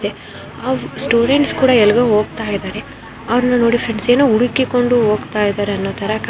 ನೀನು ಅವರು ಸ್ಟೂಡೆಂಟ್ಸ್ ಕೂಡ ಎಲ್ಲಿಗೋ ಹೋಗ್ತಾಇದಾರೆ ಅವ್ರ್ನಾ ನೋಡಿ ಫ್ರೆಂಡ್ಸ್ ಹುಡುಕಿಕೊಂಡು ಹೋಗ್ತಿದ್ದಾರೆ ಅನ್ನೋ ಥರ ಕಾಣ್ತಾ ಇದೆ.